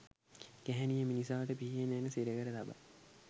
ගැහැණිය මිනිසාට පිහියෙන් ඇණ සිරකර තබයි